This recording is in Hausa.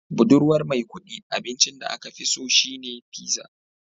Budurwar Maikudi abincin da aka fi so shine pizza